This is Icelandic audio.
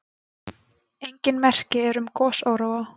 Engin merki eru um gosóróa.